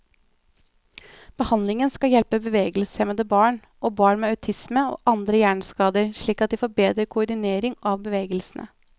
Behandlingen skal hjelpe bevegelseshemmede barn, og barn med autisme og andre hjerneskader slik at de får bedre koordinering av bevegelsene.